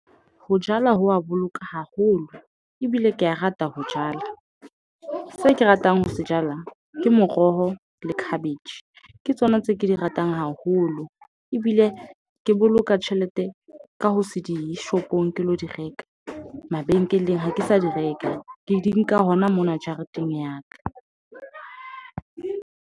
Ho jala ho wa boloka haholo. Ebile ke a rata ho jala. Se ke ratang ho se jala, ke moroho le cabbage. Ke tsona tse ke di ratang haholo. Ebile ke boloka tjhelete ka ho se dishopong ke lo di reka. Mabenkeleng, ha ke sa di reka. Ke di nka hona mona jareteng ya ka.